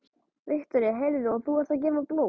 Viktoría: Heyrðu, og þú ert að gefa blóð?